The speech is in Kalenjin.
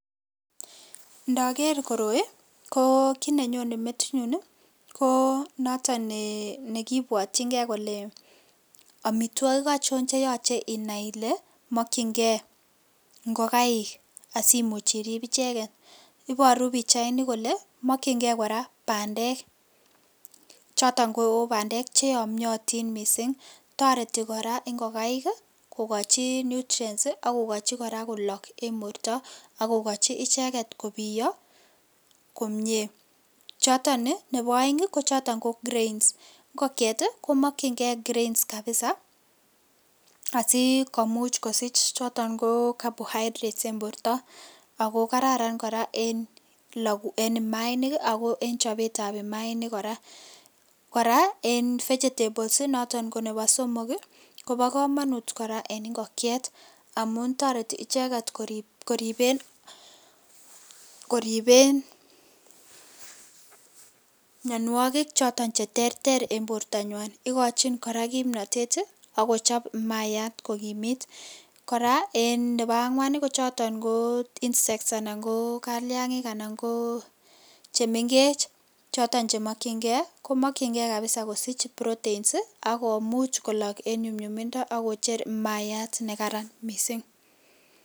Ndoker koroi koo kit nenyone metinyu ii koo noton nekibwotchingee kole omitwogik ocho chenyolu inai ile mokchingee ingokaik asikobit imuch irib icheket, iboru pichaini kole mokchingee koraa bandek choton ko bandek cheyomiotin misink toreti koraa ingokaik kokochi nutrients akokochi koraa kolok en borto ak kokochi icheket kobio komie, choton ii chebo oeng kochoton ko grains ingokwet komokchingee grains kabisa asikomuch kosich choton carbohydrates en borto ako kararan koraa en imaainik ii ako en chobetab imaainik koraa , koraa en vegetables noton ko nebo somok ii kobo komonut koraa en Ingokiet amu toreti icheket koriben, koriben, mionuokik choton cheterter en bortanywan ikochin koraa kimnotet ak kochob maayat kokimit, koraa en nebo angwan kochoton koo insect anan koo kaliangik anan ko chemengech choton chemokyingee, komokyingee kosich kabisa protein ii akomuch kolok en nyumnyumindo ak kocher maayat nekararan misink.